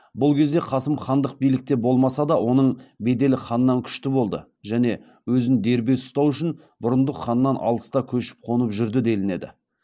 бұл кезде қасым хандық билікте болмаса да оның беделі ханнан күшті болды және өзін дербес ұстау үшін бұрындық ханнан алыста көшіп қонып жүрді делінеді